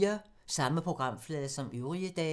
Samme programflade som øvrige dage